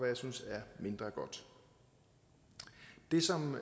jeg synes er mindre godt det som